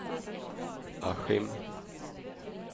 Askim